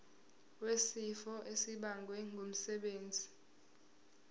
wesifo esibagwe ngumsebenzi